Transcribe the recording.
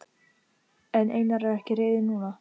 En Einar er ekki reiður núna.